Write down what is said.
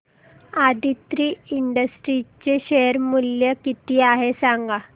Aditri industries चे share मूल्य किती आहे सांगा